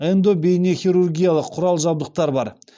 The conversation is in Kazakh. эндобейнехирургиялық құрал жабдықтар бар